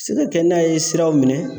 Se ka kɛ n'a ye siraw minɛ